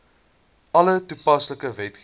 alle toepaslike wetgewing